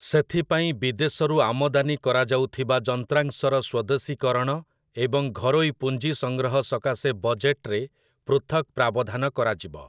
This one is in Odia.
ସେଥିପାଇଁ ବିଦେଶରୁ ଆମଦାନି କରାଯାଉଥିବା ଯନ୍ତ୍ରାଂଶର ସ୍ୱଦେଶୀକରଣ ଏବଂ ଘରୋଇ ପୁଞ୍ଜି ସଂଗ୍ରହ ସକାଶେ ବଜେଟରେ ପୃଥକ୍ ପ୍ରାବଧାନ କରାଯିବ ।